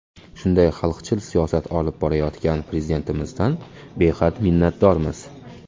Shunday xalqchil siyosat olib borayotgan Prezidentimizdan behad minnatdormiz.